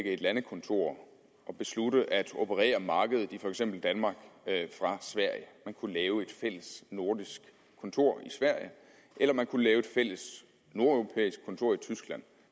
et landekontor og beslutte at operere på markedet i for eksempel danmark fra sverige man kunne lave et fælles nordisk kontor i sverige eller man kunne lave et fælles nordeuropæisk kontor i tyskland